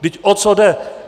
Vždyť o co jde?